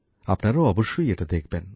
আপনারাও অবশ্যই এটা দেখবেন